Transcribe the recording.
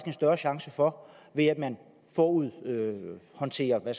en større chance for ved at man forud håndterer